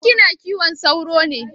Ko kina kiwon sauro ne?